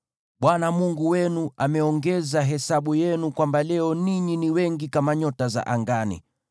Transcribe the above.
Bwana Mungu wenu ameongeza hesabu yenu, hivi kwamba leo ninyi ni wengi kama nyota za angani.